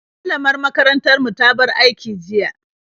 Malamar makarantar mu ta bar aiki jiya.